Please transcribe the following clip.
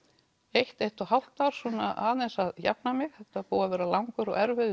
eitt eitt og hálft ár aðeins að jafna mig þetta var búið að vera langur og erfiður